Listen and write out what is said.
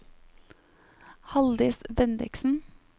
Halldis Bendiksen